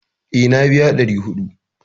Eh, na biya 400